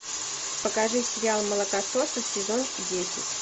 покажи сериал молокососы сезон десять